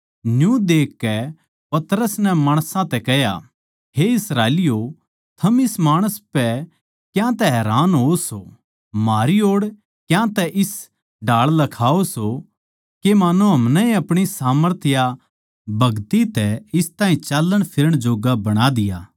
न्यू देखकै पतरस नै माणसां तै कह्या हे इस्राएलियों थम इस माणस पै क्यांतै हैरान होवो सो म्हारी ओड़ क्यांतै इस ढाळ लखाओ सों के मान्नो हमनैए अपणी सामर्थ या भगति तै इस ताहीं चाल्लणफिरण जोग्गा बणा दिया